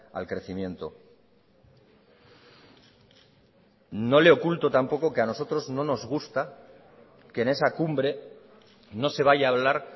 al crecimiento no le oculto tampoco que a nosotros no nos gusta que en esa cumbre no se vaya a hablar